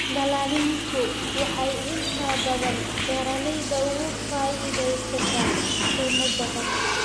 Dallaaliintu waxay inta badan beeralayda uga faa�iidaystaan ??qiimo jaban.